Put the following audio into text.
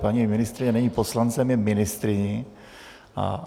Paní ministryně není poslancem, je ministryní.